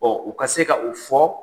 u ka se ka o fɔ.